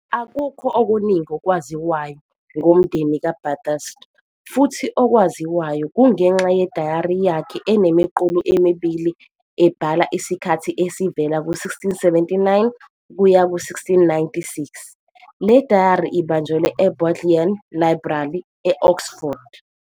Akukho okuningi okwaziwayo ngomndeni kaBathurst, futhi okwaziwayo kungenxa yedayari yakhe enemiqulu emibili ebhala isikhathi esivela ku-1679 kuya ku-1696. Le dayari ibanjelwe eBodleian Library, e-Oxford.